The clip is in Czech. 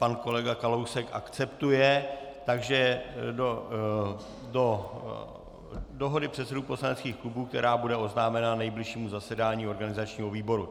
Pan kolega Kalousek akceptuje, takže do dohody předsedů poslaneckých klubů, která bude oznámena nejbližšímu zasedání organizačního výboru.